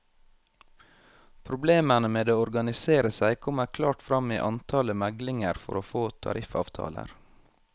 Problemene med å organisere seg kommer klart frem i antallet meglinger for å få tariffavtaler.